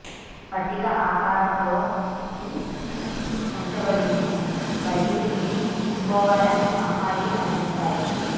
పట్టిక ఆకారంలో కీ ఉంచబడింది మరియు ఇది తీసుకోవాలని అమ్మాయి అందిస్తాయి